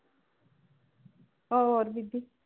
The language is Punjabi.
ਹੋਰ ਬੀਬੀ?